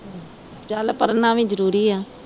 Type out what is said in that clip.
ਚੱਲ ਪੜਣਾ ਵੀ ਜਰੂਰੀ ਆ